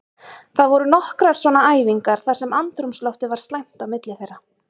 Það voru nokkrar svona æfingar þar sem andrúmsloftið var slæmt á milli þeirra.